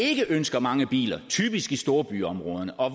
ikke ønsker mange biler typisk i storbyområderne og